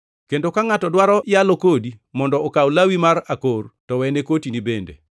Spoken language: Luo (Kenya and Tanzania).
kendo ka ngʼato dwaro yalo kodi mondo okaw lawi mar akor to wene kotini bende.